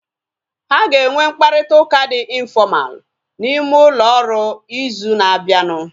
Ha aga enwe mkparịta ụka dị infọmalu n'ime ụlọ ọrụ ịzụ na abianu